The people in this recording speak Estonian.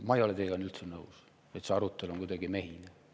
Ma ei ole teiega üldse nõus, et see arutelu on kuidagi mehine.